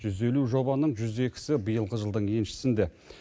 жүз елу жобаның жүз екісі биылғы жылдың еншісінде